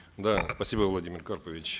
да спасибо владимир карпович